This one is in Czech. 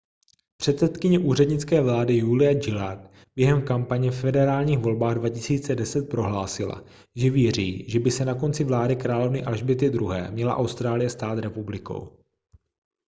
předsedkyně úřednické vlády julia gillard během kampaně ve federálních volbách 2010 prohlásila že věří že by se na konci vlády královny alžběty ii měla austrálie stát republikou